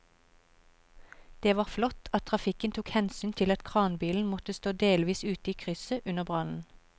Det var flott at trafikken tok hensyn til at kranbilen måtte stå delvis ute i krysset under brannen.